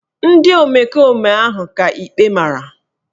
Ndị omekome ahụ ka ikpe mara